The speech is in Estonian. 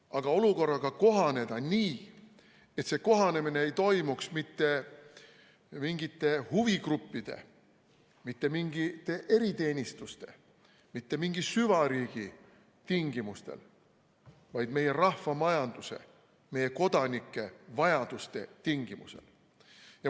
Aga olukorraga tuleb kohaneda nii, et see kohanemine ei toimuks mitte mingite huvigruppide, mitte mingite eriteenistuste, mitte mingi süvariigi tingimustel, vaid meie rahvamajanduse ja meie kodanike vajaduste tingimusel.